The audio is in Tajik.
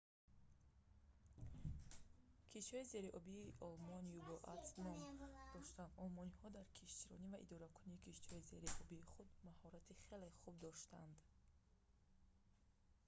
киштиҳои зериобии олмон u-boats ном дошанд олмониҳо дар киштиронь ва идоракунии киштиҳои зериобии худ мащорати хеле хуб доштанд